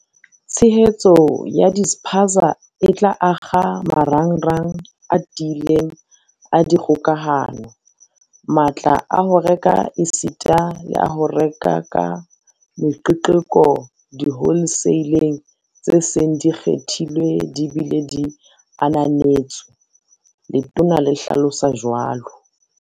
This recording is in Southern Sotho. "Tshehetso ya dispaza e tla akga marangrang a tiileng a dikgokahano, matla a ho reka esita le a ho reka ka meqeqeko diholeseileng tse seng di kgethilwe di bile di ananetswe," Letona le hlalosa jwalo.